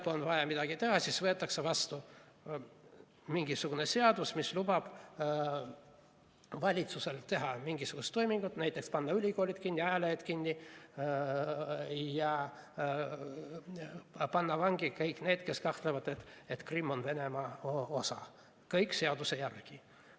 Kui on vaja midagi teha, siis võetakse vastu mingisugune seadus, mis lubab valitsusel teha mingisugust toimingut, näiteks panna ülikoolid kinni, ajalehed kinni ja panna vangi kõik need, kes kahtlevad, et Krimm on Venemaa osa – kõik seaduse järgi.